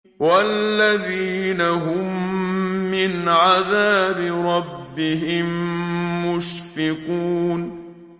وَالَّذِينَ هُم مِّنْ عَذَابِ رَبِّهِم مُّشْفِقُونَ